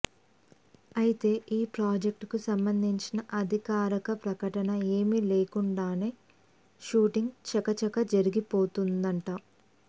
అయితే ఈ ప్రాజెక్టుకు సంబంధించిన అధికారక ప్రకటన ఏమీ లేకుండానే షూటింగ్ చకచక జరిగిపోతోందట